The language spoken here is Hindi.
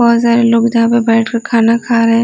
बहुत सारे लोग जहां पर बैठकर खाना खा रहे हैं।